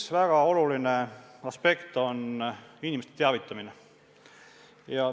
Üks väga oluline aspekt on inimeste teavitamine.